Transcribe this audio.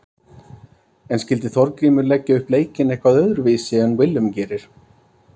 En skyldi Þorgrímur leggja upp leikinn eitthvað öðruvísi en Willum gerir?